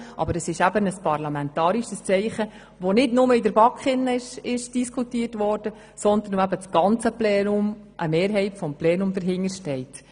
Aber es ist eben ein parlamentarisches Zeichen, das nicht nur in der BaK diskutiert wurde, sondern hinter dem eine Mehrheit des Plenums steht.